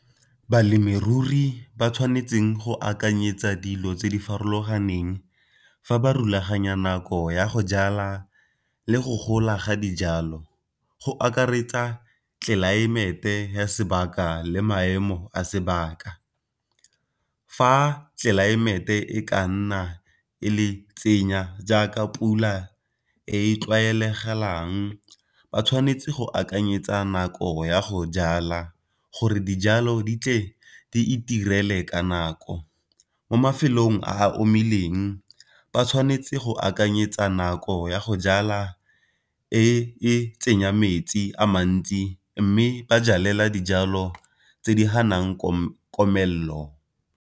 Balemirui ba tshwanetseng go akanyetsa dilo tse di farologaneng fa ba rulaganya nako ya go jala le go gola ga dijalo, go akaretsa tlelaemete ya sebaka le maemo a sebaka. Fa tlelaemete e ka nna e le tsenya jaaka pula e tlwaelegelang ba tshwanetse go akanyetsa nako ya go jala gore dijalo di tle di itirele ka nako. Mo mafelong a a omileng ba tshwanetse go akanyetsa nako ya go jala e e tsenya metsi a mantsi mme ba jalela dijalo tse di ganang komelelo.